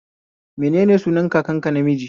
Menene sunan kakanka namiji?